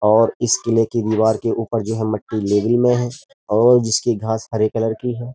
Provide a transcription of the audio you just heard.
और इस किले की दीवार के ऊपर जो है मट्टी लेवल में है और जिसकी घास हरे कलर की है।